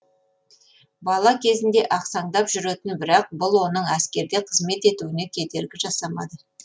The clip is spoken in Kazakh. бала кезінде ақсаңдап жүретін бірақ бұл оның әскерде қызмет етуіне кедергі жасамады